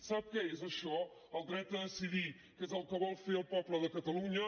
sap què és això el dret a decidir que és el que vol fer el poble de catalunya